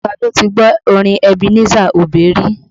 Ta ló ti gbọ́ orin Ebenezer Obey rí?